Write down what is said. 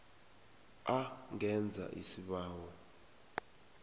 a ngenza isibawo